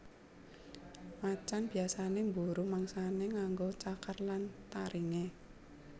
Macan biyasané mburu mangsané nganggo cakar lan taringé